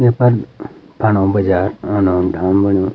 येफर फंडू बाजार ओनो डैम बन्यु।